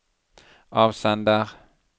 avsender